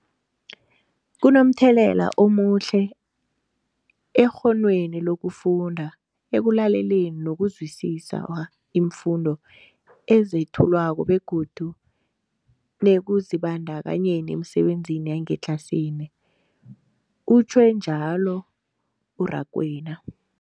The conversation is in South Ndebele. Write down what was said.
Kunomthelela omuhle ekghonweni lokufunda, ekulaleleni nokuzwisiswa iimfundo ezethulwako begodu nekuzibandakanyeni emisebenzini yangetlasini, utjhwe njalo u-Rakwena.